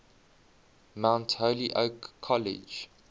mount holyoke college